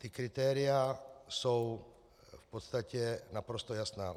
Ta kritéria jsou v podstatě naprosto jasná.